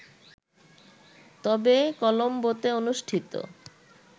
তবে কলোম্বোতে অনুষ্ঠিত